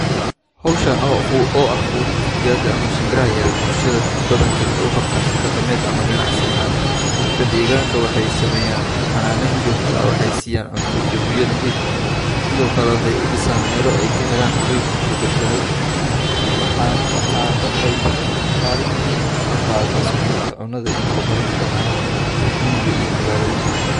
Hawshaan oo ah oo ah quudinta digaga ama shimbra yar bulshada badankood waxay u qabtaan si dhaqameed ama ganacsi ahaan. Dadka dheegaanka waxay sameeyaan xanaanayn joogto ah, waxay siiyaan cunto iyo biyo nadiif ah. Sidoo kale waxay u dhisaan meelo ay ka helaa hoy iyo badbaado. Waxaan, waxa, waxay tanikaalin muhiim ka qaadata sugnaanta cunnada iyo horumarinta dhaqaalaha, reer miyiga iyo magaalooyinka.